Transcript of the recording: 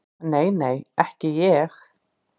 Nei, nei, ekki ég.